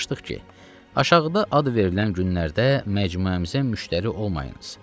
Yazmışdıq ki, aşağıda ad verilən günlərdə məcmuəmizə müştəri olmayınız.